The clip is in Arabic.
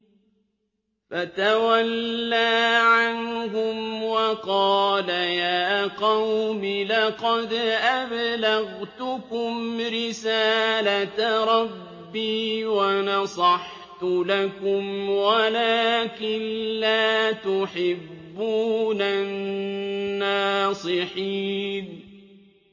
فَتَوَلَّىٰ عَنْهُمْ وَقَالَ يَا قَوْمِ لَقَدْ أَبْلَغْتُكُمْ رِسَالَةَ رَبِّي وَنَصَحْتُ لَكُمْ وَلَٰكِن لَّا تُحِبُّونَ النَّاصِحِينَ